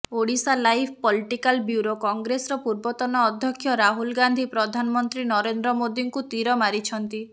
Odisha live political bureau କଂଗ୍ରେସର ପୂର୍ବତନ ଅଧ୍ୟକ୍ଷ ରାହୁଲ ଗାନ୍ଧୀ ପ୍ରଧାନମନ୍ତ୍ରୀ ନରେନ୍ଦ୍ର ମୋଦୀଙ୍କୁ ତୀର ମାରିଛନ୍ତି